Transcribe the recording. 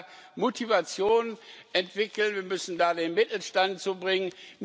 Wir müssen da Motivation entwickeln, wir müssen den Mittelstand dazu bringen.